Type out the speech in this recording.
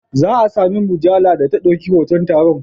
Za a sami mujallar da ta ɗauki hoton taron.